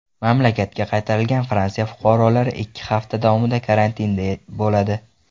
Mamlakatga qaytarilgan Fransiya fuqarolari ikki hafta davomida karantinda bo‘ladi.